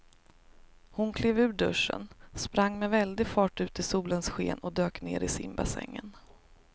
Hon klev ur duschen, sprang med väldig fart ut i solens sken och dök ner i simbassängen.